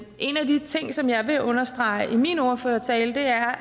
en af de ting som jeg vil understrege i min ordførertale er